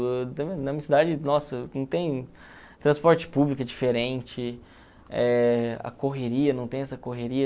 Na minha cidade, nossa, não tem transporte público diferente, eh a correria, não tem essa correria.